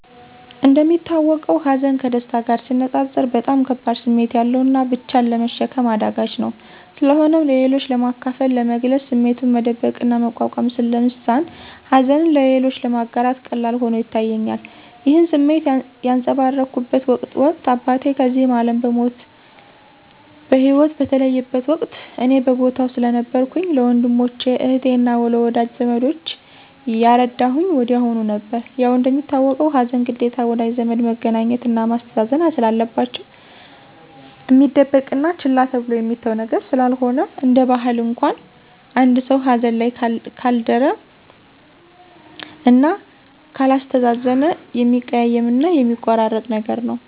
እንደሚታወቀው ሀዘን ከደስታ ጋር ሲነፃፀር በጣም ከባድ ስሜት ያለውና ብቻን ለመሸከም አዳጋች ነው። ስለሆነም ለሌሎች ለማካፈል፥ ለመግለፅ ስሜቱን መደበቅና መቋቋም ስለሚሳን ሀዘንን ለሌሎች ለማጋራት ቀላል ሆኖ ይታየኛል። ይህን ስሜት ያንፀባረኩበት ወቅት አባቴ ከዚህ አለም በሂወት በተለየበት ወቅት እኔ በቦታው ስለነበርኩኝ ለወንድሞቸ፥ አህቴ አና ለወዳጂ ዘመዶቸ ያረዳሁኝ ወዲያሁኑ ነበር። ያው እንደሚታወቀው ሀዘን ግዴታ ወዳጅ ዘመድ መገኘትና ማስተዛዘን ስላለባቸው፣ እሚደበቅና ችላ ተብሎ የሚተው ነገር ስላልሆነ፤ እንደ ባህል እንኳን አንድ ሰው ሀዘን ላይ ካልደረ እና ካላስተዛዘነ የሚያቀያይምና የሚያቆራርጥ ነገር ነው።